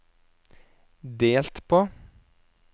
delt på